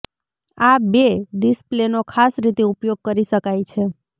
આ બે ડિસપ્લેનો ખાસ રીતે ઉપયોગ કરી શકાય છે